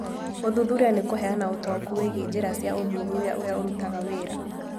Gũthuthuria nĩ kũheana ũtaũku wĩgiĩ njĩra cia ũthuthuria ũrĩa ũrutaga wĩra.